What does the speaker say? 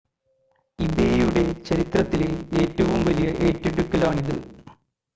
ഇബേയുടെ ചരിത്രത്തിലെ ഏറ്റവും വലിയ ഏറ്റെടുക്കലാണിത്